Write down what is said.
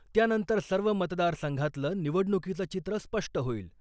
त्यानंतर सर्व मतदार संघातलं निवडणूकीचं चित्र स्पष्ट होईल .